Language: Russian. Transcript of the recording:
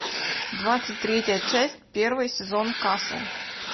двадцать третья часть первый сезон касл